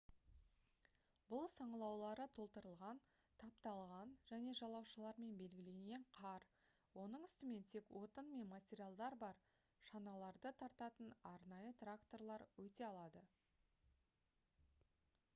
бұл саңылаулары толтырылған тапталған және жалаушалармен белгіленген қар оның үстімен тек отын мен материалдар бар шаналарды тартатын арнайы тракторлар өте алады